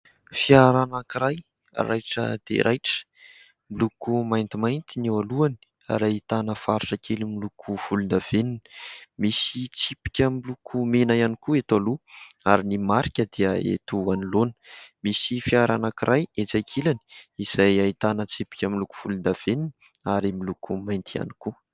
Fiara anankiray raitra de raitra miloko maintimainty ny eo alohany ary ahitana faritra kely miloko volondavenina misy tsipika milokomena iany koa eto aloha ary ny marika dia eto anoloana. Misy fiara anankiray etsy ankilany izay ahitana tsipika miloko volondavenina ary miloko mainty ihany koa.